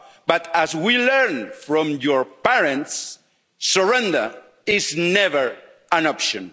know how, but, as we learned from your parents, surrender is never an